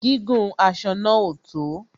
Gígùn aṣọ náà ò tó